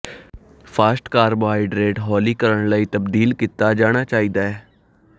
fast carbohydrate ਹੌਲੀ ਕਰਨ ਲਈ ਤਬਦੀਲ ਕੀਤਾ ਜਾਣਾ ਚਾਹੀਦਾ ਹੈ